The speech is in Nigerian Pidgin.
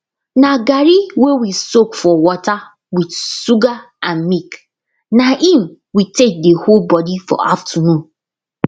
na garri wey we soak for water with sugar and milk na im we take dey hold body for afternoon